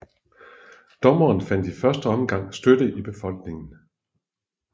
Dommen fandt i første omgang støtte i befolkningen